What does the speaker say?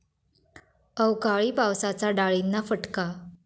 अवकाळी पावसाचा डाळींना फटका